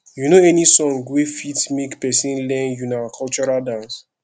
you know any song wey fit make person learn una cultural dance